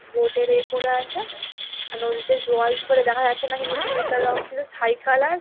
বোটের -এ পরে আছে নদীতে জল খুব একটা দেখা যাচ্ছে না কিন্তু নদীটার রং ছিল ছাই কালার ।